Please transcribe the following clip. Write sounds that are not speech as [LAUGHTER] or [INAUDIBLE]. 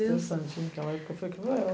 Deus. Foi estressante [UNINTELLIGIBLE]